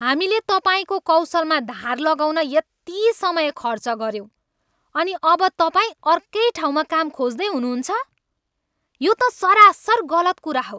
हामीले तपाईँको कौशलमा धार लगाउन यति समय खर्च गऱ्यौँ अनि अब तपाईँ अर्कै ठाउँमा काम खोज्दै हुनुहुन्छ? यो त सरासर गलत कुरा हो।